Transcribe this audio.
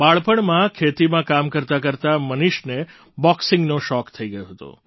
બાળપણમાં ખેતીમાં કામ કરતાંકરતાં મનીષને બૉક્સિંગનો શોખ થઈ ગયો હતો